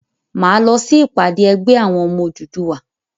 Máa lọ sí ìpàdé ẹgbẹ́ àwọn ọmọ Odùduwà.